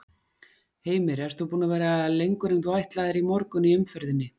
Heimir: Ert þú búin að vera lengur en þú ætlaðir í morgun í umferðinni?